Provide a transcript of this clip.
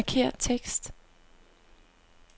Markér tekst.